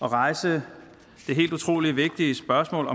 at rejse det helt utrolig vigtige spørgsmål